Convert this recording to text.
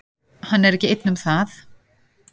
Hann er ekki einn um það.